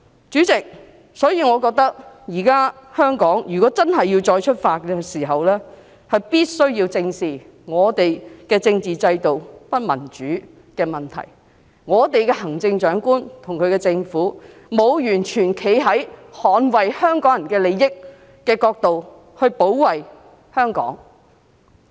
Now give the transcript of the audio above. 主席，我認為香港如果真的要再出發，必須正視我們的政治制度不民主的問題，我們的行政長官和其政府，沒有完全從捍衞香港人利益的角度保衞香港。